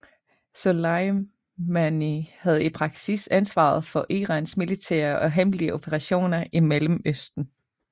Soleimani havde i praksis ansvaret for Irans militære og hemmelige operationer i Mellemøsten